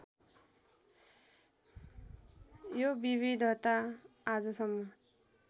यो विविधता आजसम्म